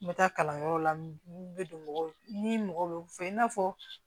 N bɛ taa kalanyɔrɔ la n bɛ don mɔgɔw ni mɔgɔ bɛ n fɛ i n'a fɔ